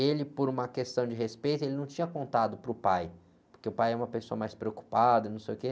E ele, por uma questão de respeito, ele não tinha contado para o pai, porque o pai é uma pessoa mais preocupada, não sei o quê.